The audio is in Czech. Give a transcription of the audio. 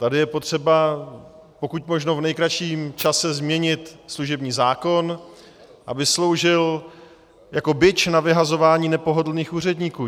Tady je potřeba pokud možno v nejkratším čase změnit služební zákon, aby sloužil jako bič na vyhazování nepohodlných úředníků.